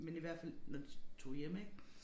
Men i hvert fald når de tog hjem ik